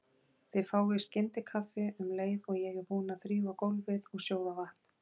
Þið fáið skyndikaffi um leið og ég er búin að þrífa gólfið og sjóða vatn.